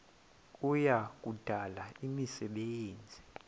kuya kudala imisebenzi